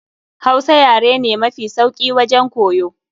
Hausa yare ne mafi sauki wajen koyo.